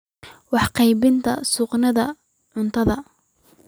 Waxay ka qaybqaadataa sugnaanta cuntada.